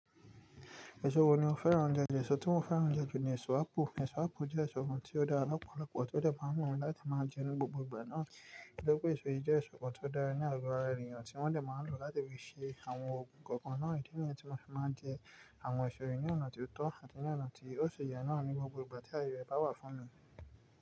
Èso wo ni o fẹ́ràn jùlọ, èso tí mo fẹ́ràn jùlọ ni èso ápù. Èso ápù jẹ́ èso kan tí ó dára lọ́pọ̀lọpọ̀, tó de fún àwọn ènìyàn láti máa jẹ ní gbogbo ìgbà náà. Nítorí pé èso yìí jẹ́ èso kan tó dára ní àgo ara ènìyàn tí wọ́n dẹ̀ máa ń lò láti fi ṣe àwọn oògùn kọ̀ọ̀kan náà, idi niyen tí mo fi máa ń jẹ àwọn èso yìí ní ọ̀nà tó tọ́ àti ní ọ̀nà tí ó ṣe yẹ náà ní gbogbo ìgbà tí aye ẹ̀ bá wà fún mi.